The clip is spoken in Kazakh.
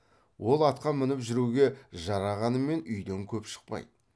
ол атқа мініп жүруге жарағанымен үйден көп шықпайды